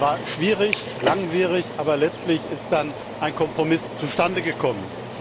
Das war schwierig, langwierig, aber letztlich ist dann ein Kompromiss zustande gekommen.